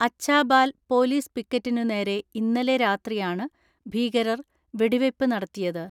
Achhabal police പിക്കറ്റിനുനേരെ ഇന്നലെ രാത്രിയാണ് ഭീകരർ വെടിവെയ്പ് നടത്തിയത്.